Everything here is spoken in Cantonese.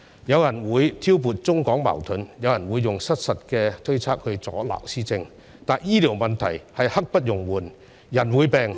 有人會挑撥中港矛盾，有人會用失實的推測阻撓施政，但醫療問題是刻不容緩的，人會病......